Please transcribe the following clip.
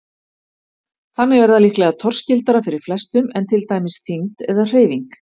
Þannig er það líklega torskildara fyrir flestum en til dæmis þyngd eða hreyfing.